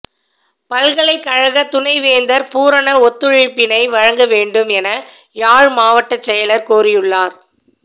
பல்கலைக்கழக துணைவேந்தர் பூரண ஒத்துழைப்பினை வழங்க வேண்டும் என யாழ் மாவட்ட செயலர் கோரியுள்ளார்